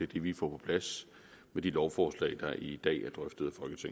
det vi får på plads med de lovforslag der i dag er drøftet